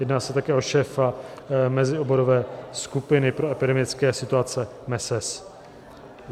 Jedná se také o šéfa Mezioborové skupiny pro epidemické situace MeSES.